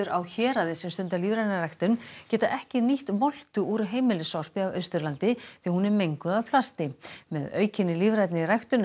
á Héraði sem stunda lífræna ræktun geta ekki nýtt moltu úr heimilissorpi af Austurlandi því hún er menguð af plasti með aukinni lífrænni ræktun